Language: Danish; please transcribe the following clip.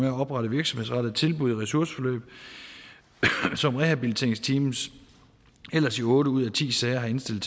at oprette virksomhedsrettede tilbud i ressourceforløb som rehabiliteringsteams ellers i otte ud af ti sager har indstillet